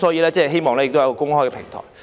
我希望能有一個公開的平台。